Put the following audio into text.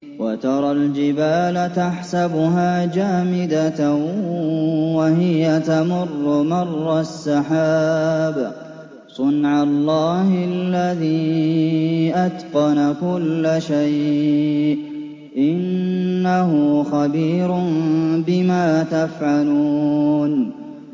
وَتَرَى الْجِبَالَ تَحْسَبُهَا جَامِدَةً وَهِيَ تَمُرُّ مَرَّ السَّحَابِ ۚ صُنْعَ اللَّهِ الَّذِي أَتْقَنَ كُلَّ شَيْءٍ ۚ إِنَّهُ خَبِيرٌ بِمَا تَفْعَلُونَ